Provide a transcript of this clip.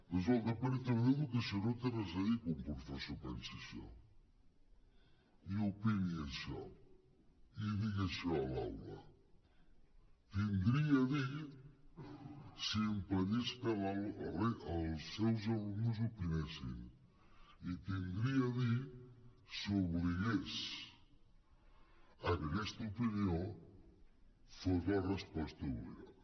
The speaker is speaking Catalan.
doncs el departament d’educació no hi té res a dir que un professor pensi això i opini això i digui això a l’aula hi tindria a dir si impedís que els seus alumnes opinessin hi tindria a dir si obligués a que aquesta opinió fos la resposta obligada